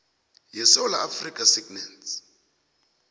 yesewula afrika sagnc